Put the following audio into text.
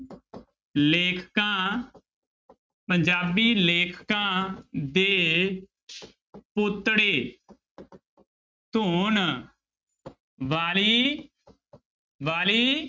ਲੇਖਕਾਂ ਪੰਜਾਬੀ ਲੇਖਕਾਂ ਦੇ ਪੋਤੜੇ ਧੋਣ ਵਾਲੀ ਵਾਲੀ